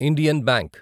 Indian bank